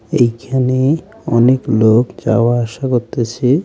এইখানে অনেক লোক যাওয়া আসা করতেছে।